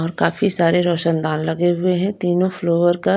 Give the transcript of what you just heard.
और काफी सारे रोशनदान लगे हुए हैं तीनों फ्लोर का--